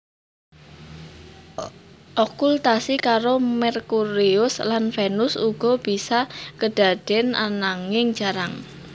Okultasi karo Merkurius lan Venus uga bisa kedaden ananging jarang